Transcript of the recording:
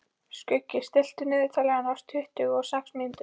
Skuggi, stilltu niðurteljara á tuttugu og sex mínútur.